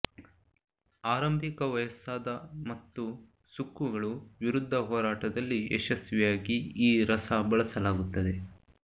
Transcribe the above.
ಆರಂಭಿಕ ವಯಸ್ಸಾದ ಮತ್ತು ಸುಕ್ಕುಗಳು ವಿರುದ್ಧ ಹೋರಾಟದಲ್ಲಿ ಯಶಸ್ವಿಯಾಗಿ ಈ ರಸ ಬಳಸಲಾಗುತ್ತದೆ